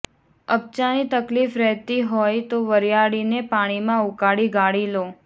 અપચાની તકલીફ રહેતી હોય તો વરીયાળીને પાણીમાં ઉકાળી ગાળી લો